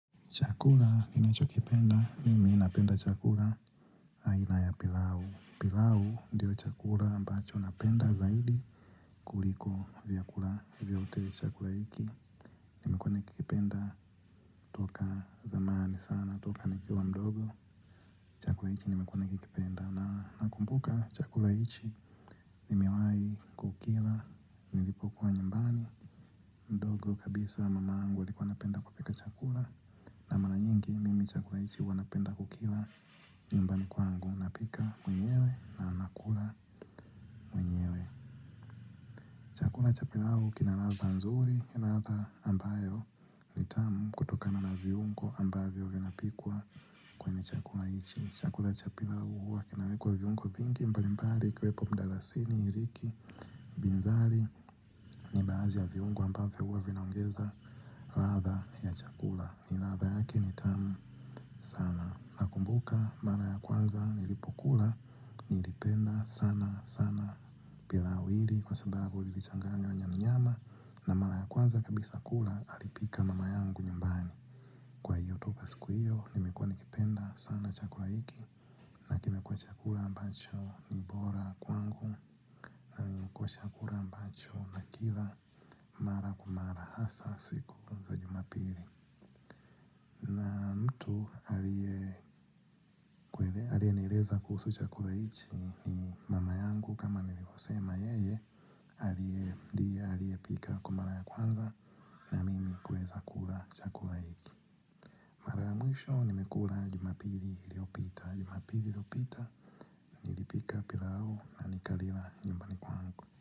Chakula ninachokipenda, nimi napenda chakula aina ya pilau. Pilau ndiyo chakula ambacho napenda zaidi kuliko vyakula vyote chakula hiki. Nimekuwa nikikipenda toka zamani sana toka nikiwa wa mdogo. Chakula hiki nimekuwa nikipenda. Na nakumbuka chakula hiki nimewahi kukila nilipokuwa nyumbani. Mdogo kabisa mamangu alikuwa anapenda kupika chakula. Na mara nyingi mimi chakula hiki huwa napenda kukila. Nyumbani kwangu napika mwenyewe na nakula mwenyewe. Chakula cha pilau kina ladha nzuri kina ladha ambayo ni tamu kutokana na viungo ambavyo vinapikwa kwenye chakula hiki chakula cha pilau huwa kinawekwa viungo vingi mbalimbali ikiwepo mdalasini iliki binzari. Ni baadhi ya viungo ambavyo huwa vinaongeza ladha ya chakula ni ladha yake ni tamu sana nakumbuka mara ya kwanza nilipokula nilipenda sana sana. Pilau hili kwa sababu lilichanganywa nyama nyama na mara ya kwanza kabisa kula alipika mama yangu nyumbani kwa hiyo toka siku hiyo nimekuwa nikipenda sana chakula hiki na kimekuwa chakula ambacho ni bora kwangu. Kuwa chakula ambacho nakila mara kwa mara hasa siku za jumapili mtu aliyenieleza kuhusu chakula hiki ni mama yangu kama nilivyosema yeye ndiye aliyepika kwa mara ya kwanza na mimi kuweza kula chakula hiki mara ya mwisho nimekula jumapili iliyopita jumapili iliyopita nilipika pilau na nikalila nyumbani kwangu.